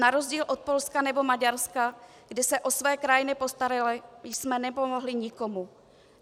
Na rozdíl od Polska nebo Maďarska, kde se o své krajany postarali, jsme nepomohli nikomu.